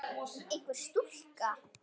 Einhver stúlka?